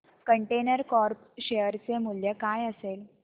container corp share चे मूल्य काय असेल